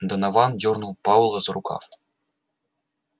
донован дёрнул пауэлла за рукав